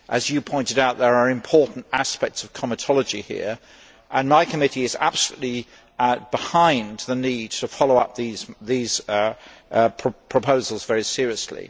As you pointed out, there are important aspects of comitology here and my committee is absolutely behind the need to follow up these proposals very seriously.